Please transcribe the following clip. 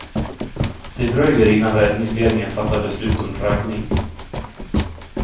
Det dröjer innan räddningsledningen fattar beslut om draggning.